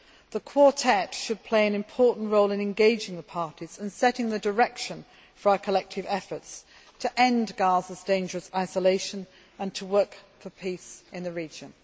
this. The Quartet should play an important role in engaging the parties and setting the direction for our collective efforts to end Gaza's dangerous isolation and to work for peace in the region.